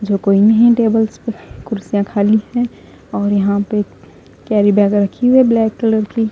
जो कोई नहीं टेबल्स पे कुर्सियां खाली हैं और यहां पे कैरी बैग रखी है ब्लैक कलर की--